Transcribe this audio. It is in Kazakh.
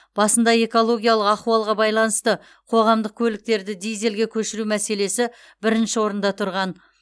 басында экологиялық ахуалға байланысты қоғамдық көліктерді дизельге көшіру мәселесі бірінші орында тұрған